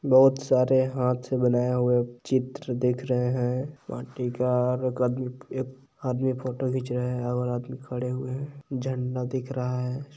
--बहुत सारे हाथ से बनाए हुए है चित्र दिख रहे है माटी का और एक आदमी एक आदमी फोटो खींच रहे है और आदमी खड़े हुऐ है झंडा दिख रहा है।